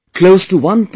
Close to 1